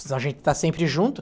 A gente está sempre junto.